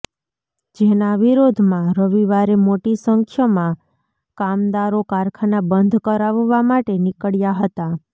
જેના વિરોધમાં રવિવારે મોટી સંખ્યમાં કામદારો કારખાના બંધ કરાવવા માટે નીકળ્યા હતા